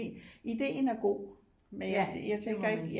Ideen er god men jeg tænker ikke